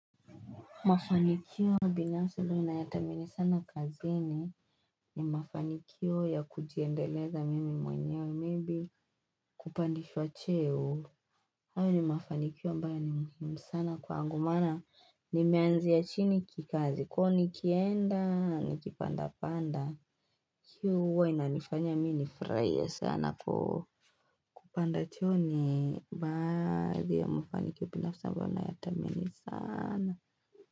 Mafanikio binafsi inayatamani sana kazini ni mafanikio ya kujiendeleza mimi mwenyewe maybe kupandishwa cheo. Hayo ni mafanikio ambayo ni muhimu sana kwangu maana nimeanzia chini kikazi k nikienda nikipanda panda. Hii huwa inanifanya mimi ni furahie sana kwa kupanda cheo ni baadhi ya mafanikio binafsi ambayo ninayatamani sana.